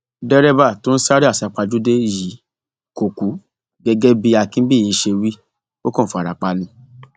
derébà tó ń sáré àsápajúdé yìí kò kú gẹgẹ bí akínbíyí ṣe wí ó kàn fara pa ni